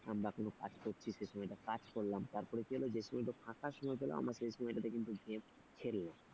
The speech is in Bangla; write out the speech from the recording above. আমরা কোন কাজ করছি সে সময়টা কাজ করলাম তারপর কি হল যে সময়টা ফাঁকা সময় পেলাম সে আমরা সেই সময়টাতে কিন্তু game খেললাম।